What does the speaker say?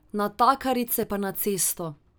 Natakarice pa na cesto ...